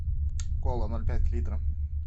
кола ноль пять литра